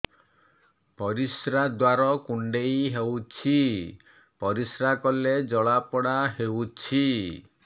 ପରିଶ୍ରା ଦ୍ୱାର କୁଣ୍ଡେଇ ହେଉଚି ପରିଶ୍ରା କଲେ ଜଳାପୋଡା ହେଉଛି